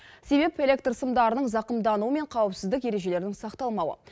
себеп электр сымдарының зақымдануы мен қауіпсіздік ережелерінің сақталмауы